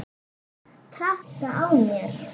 Traðka á mér!